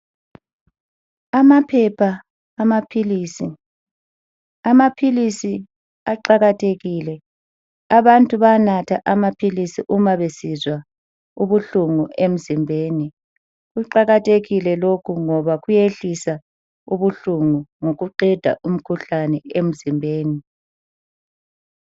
Amaphepha amaphilisi, amaphilisi aqakathekile abantu banatha amaphilisi uma besizwa ubuhlungu emzimbeni. Kuqakathekile lokhu ngoba kuyehlisa ubuhlungu ngokuqeda umkhuhlane emzimbeni.